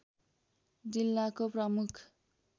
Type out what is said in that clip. जिल्लाको प्रमुख